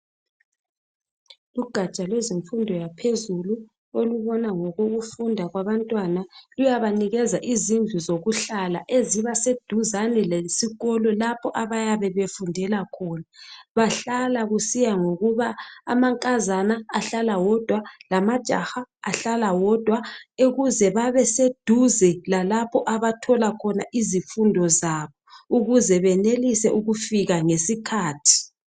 Ugatsha lwezemfundo yaphezulu olubona ngokufunda kwabantwana luyabanikeza izindlu zokuhlala ezibaseduzane lesikolo lapha abayabe befundela khona. Bahlala kusiya ngokuba amankazana ahlala wodwa lamajaha ahlala wodwa ukuze babeseduze lalapho abathola khona izifundo zabo ukuze benelise ukufika ngesikhathi.